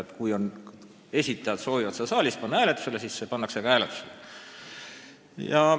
Ehk kui esitajad soovivad seda panna saalis hääletusele, siis see ka pandaks siin hääletusele.